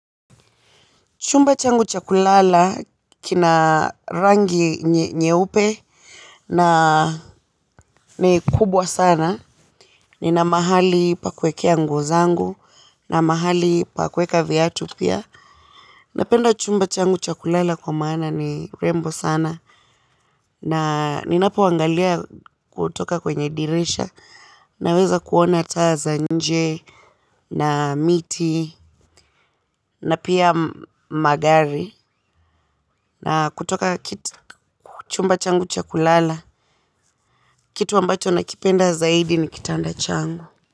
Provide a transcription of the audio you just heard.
Chumba changu cha kulala kina rangi nyeupe na ni kubwa sana. Nina mahali pa kuwekea nguo zangu na mahali pa kuweka viatu pia. Napenda chumba changu cha kulala kwa maana ni rembo sana. Na ninapoangalia kutoka kwenye dirisha naweza kuona taa za nje na miti na pia magari. Na kutoka chumba changu cha kulala kitu ambacho nakipenda zaidi ni kitanda changu.